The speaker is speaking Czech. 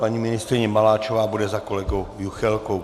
Paní ministryně Maláčová bude za kolegou Juchelkou.